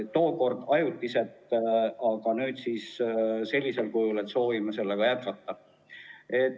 Tookord ajutiselt, aga nüüd soovime sellega jätkata.